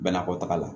Banakɔtaga la